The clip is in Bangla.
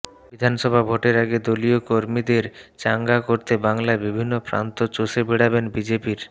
বিধানসভা ভোটের আগে দলীয় কর্মীদের চাঙ্গা করতে বাংলায় বিভিন্ন প্রান্ত চষে বেড়াবেন বিজেপির